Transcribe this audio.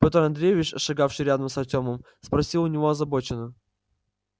пётр андреевич шагавший рядом с артёмом спросил у него озабоченно